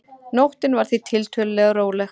Nóttin var því tiltölulega róleg